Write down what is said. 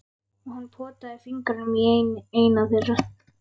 Og hann potaði fingrinum í eina þeirra.